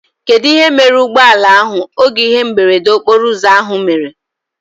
Kedụ ihe mere ụgbọala ahụ oge ihe mberede okporo ụzọ ahụ mere?